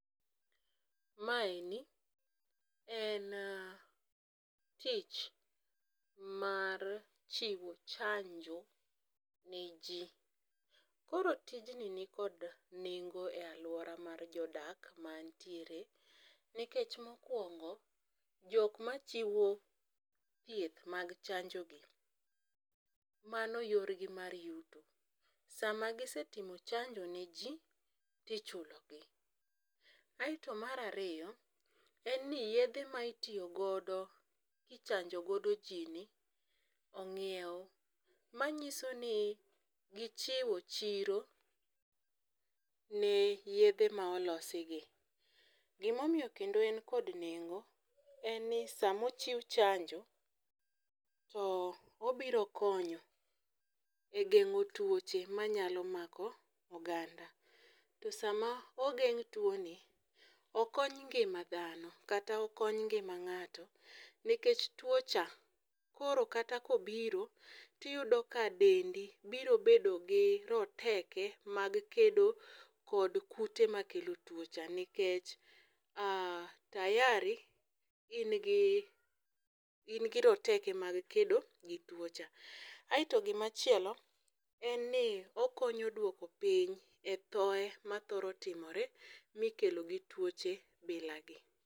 Maeni en tich mar chiwo chanjo ne jii. Koro tijni nikod nengo e aluora mar jodak mantiere nikech mokwongo, jok machiwo thieth mag chanjo gi mano yor gi mar yuto. Sama gisetimo chanjo ne jii tichulo gi. Aeto mar ariyo en ni yedhe ma itiyo godo kichanjo godo jii ni ong'iew. Manyiso ni gichiwo chiro ne yedhe ma olosi gi. Gimomiyo kendo en kod nengo en ni samochiw chanjo to obiro konyo e geng'o tuoche manyalo mako oganda .To sama ogeng' tuo ni okony ngima dhano kata okony ngima ng'ato nikech tuo cha koro kata kobiro tiyudo ka dendi biro bedo gi roteke mag kedo kod kute makelo tuo cha nikech tayari in gi in gi roteke mag kedo gi tuo cha. Aeto gima chielo en ni okonyo duoko piny e thoe ma thoro timore mikelo gi tuoche bila gi.